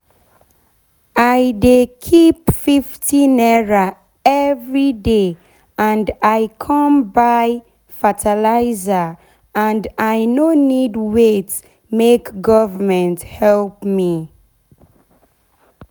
i dey keep #50 everyday and i con buy fertilizer and i no need wait make government help me.